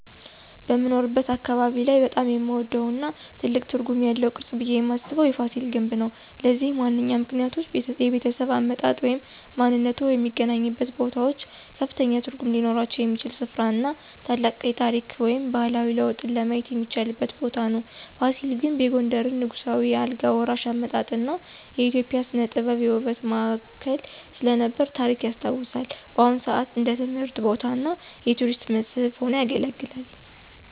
በምኖርበት አካባቢ ላይ በጣም የምወደው እና ትልቅ ትርጉም ያለው ቅርስ ብየ ማስበው የፋሲል ግንብ ነው። ለዚህም ዋነኛ ምክንያቶች -የቤተሰብ አመጣጥ ወይም ማንነትዎ የሚገናኙበት ቦታዎች ከፍተኛ ትርጉም ሊኖራቸው የሚችል ሥፍራ እና ታላቅ የታሪክ ወይም ባህላዊ ለውጥን ለማየት የሚቻልበት ቦታ ነው። ፋሲል ግንብ የጎንደርን ንጉሳዊ የአልጋ ወራሽ አመጣጥ እና የኢትዮጵያ ሥነ-ጥበብ የውበት ማዕከል ስለነበረ ታሪክ ያስታውሳል። በአሁን ሰአት እንደ ትምህርት ቦታ እና የቱሪስት መስህብ ሆኖ ያገለግላል።